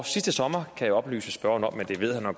sidste sommer kan jeg oplyse spørgeren om men det ved han jo